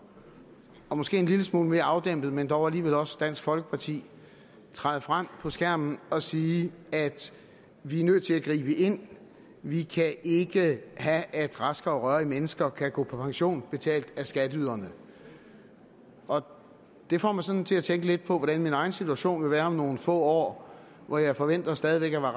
og måske en lille smule mere afdæmpet men dog alligevel også fra dansk folkeparti træde frem på skærmen og sige vi er nødt til at gribe ind vi kan ikke have at raske og rørige mennesker kan gå på pension betalt af skatteyderne og det får mig sådan til at tænke lidt på hvordan min egen situation vil være om nogle få år hvor jeg forventer stadig væk at